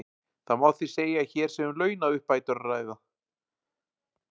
Það má því segja að hér sé um launauppbætur að ræða.